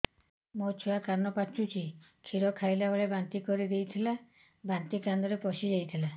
ମୋ ଛୁଆ କାନ ପଚୁଛି କ୍ଷୀର ଖାଇଲାବେଳେ ବାନ୍ତି କରି ଦେଇଥିଲା ବାନ୍ତି କାନରେ ପଶିଯାଇ ଥିଲା